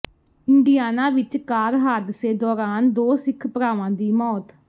Indiana ਵਿੱਚ car ਹਾਦਸੇ ਦੌਰਾਨ ਦੋ ਸਿੱਖ ਭਰਾਵਾਂ ਦੀ ਮੌਤ